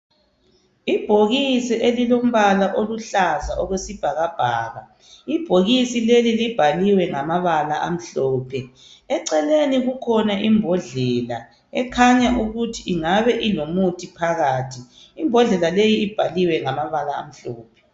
Ibhokisi elilombala oluhlaza okwesibhakabhaka. Ibhokisi leli libhalwiwe ngamabala amhlophe. Eceleni kule imbodlela ekhanya ukuthi ingabe ilomuthi phakathi. Ibhaliwe ngamabala amhlophe.